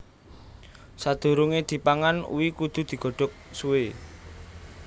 Sadurungé dipangan uwi kudu digodhok suwé